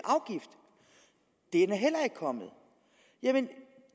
er heller ikke kommet jamen